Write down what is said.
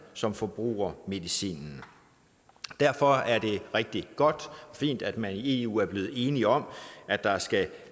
som forbruger medicinen derfor er det rigtig godt og fint at man i eu er blevet enige om at der skal